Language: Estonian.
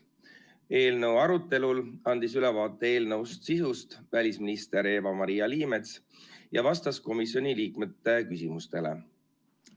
Eelnõu arutelul andis välisminister Eva-Maria Liimets ülevaate eelnõu sisust ja vastas komisjoni liikmete küsimustele.